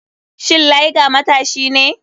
Shin liger matashi ne?